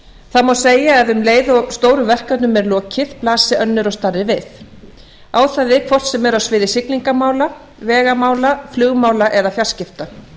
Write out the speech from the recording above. það má segja að um leið og stórum verkefnum er lokið blasi önnur og stærri við á það við hvort sem er á sviði siglinga mála vegamála flugmála eða fjarskipta